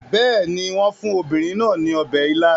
Bẹ́ẹ̀ ni, wọ́n fún obìnrin náà ní ọbẹ̀ ila